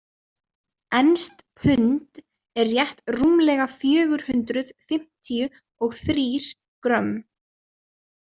Enskt pund er rétt rúmlega fjögur hundruð fimmtíu og þrír grömm.